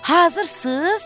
Hazırsız?